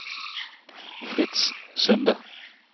Fritz Sunde